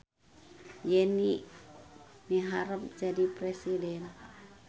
Yeni miharep jadi presiden